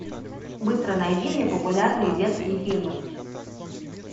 быстро найди мне популярные детские фильмы